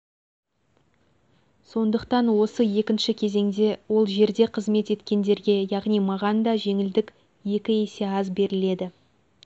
сондықтан осы екінші кезеңде ол жерде қызмет еткендерге яғни маған да жеңілдік екі есе аз беріледі